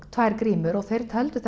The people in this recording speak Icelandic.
tvær grímur og þeir töldu